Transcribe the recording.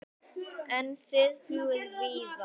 En þið fljúgið víðar?